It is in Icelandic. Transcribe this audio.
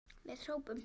Við hrópum!